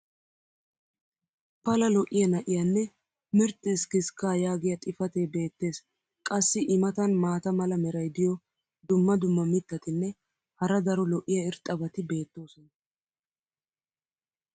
pala lo'iya na'iyaanne "mirxxi iskiskkaa" yaagiya xifatee beetees. qassi i matan maata mala meray diyo dumma dumma mitatinne hara daro lo'iya irxxabati beetoosona.